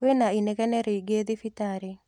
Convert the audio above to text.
Kwĩna inegene rĩingĩthibitarĩ.